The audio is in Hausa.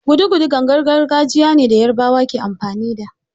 Gudugudu gangar gargajiya ne da yarbawa ke amfani da